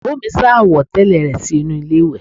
Ìyàwó mi sá àwọ̀tẹ́lẹ̀ rẹ sínú ilé ìwẹ̀